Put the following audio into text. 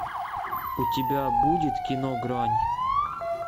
у тебя будет кино грань